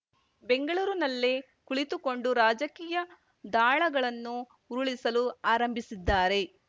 ಬೆಂಗಳೂರುನಲ್ಲೇ ಕುಳಿತುಕೊಂಡು ರಾಜಕೀಯ ದಾಳಗಳನ್ನು ಉರುಳಿಸಲು ಆರಂಭಿಸಿದ್ದಾರೆ